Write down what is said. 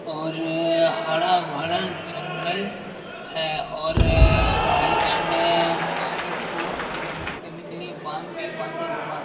और हरा-भरा जंगल है और बीच में पानी को रिज़र्व करने के लिए बांध भी बंधा हुआ --